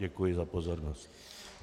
Děkuji za pozornost.